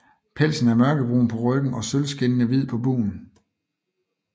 Pelsen er mørkebrun på ryggen og sølvskinnende hvid på bugen